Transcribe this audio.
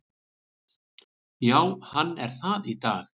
Já hann er það í dag!